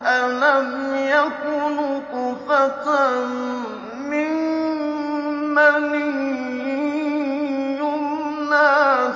أَلَمْ يَكُ نُطْفَةً مِّن مَّنِيٍّ يُمْنَىٰ